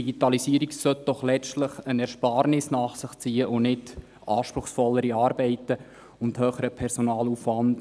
Die Digitalisierung sollte doch letztlich eine Ersparnis nach sich ziehen und nicht anspruchsvollere Arbeiten und höheren Personalaufwand.